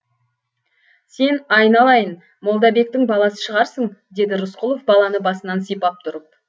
сен айналайын молдабектің баласы шығарсың деді рысқұлов баланы басынан сипап тұрып